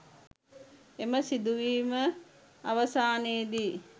එම සිදුවීම අවසානයේදී